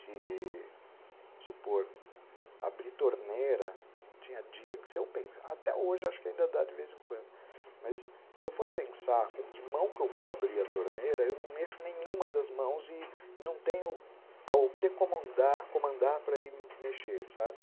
Se, vamos supor, abrir torneira, tinha dia que se eu pensava, até hoje acho que ainda dá de vez em quando, mas se eu for pensar com que mão que eu vou abrir a torneira, eu não mexo nenhuma das mãos e não tenho o que comandar para ir mexer, sabe?